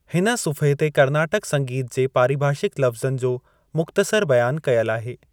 हिन सुफ़्हे ते कर्नाटक संगीत जे पारिभाषिकु लफ़्ज़नि जो मुख़्तसरु बयानु कयलु आहे।